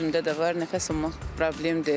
Gözümdə də var, nəfəs almaq problemdir.